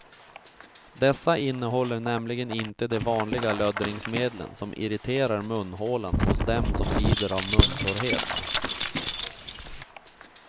Dessa innehåller nämligen inte de vanliga löddringsmedlen som irriterar munhålan hos dem som lider av muntorrhet.